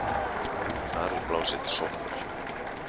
Þar er blásið til sóknar.